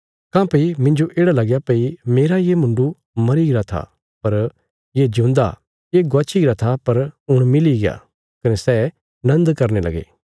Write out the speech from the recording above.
काँह्भई मिन्जो येढ़ा लगया भई मेरा ये मुण्डु मरीगरा था पर ये जिऊंदा ये गवाच्छी गरा था पर हुण मिलीग्या कने सै नन्द करने लगे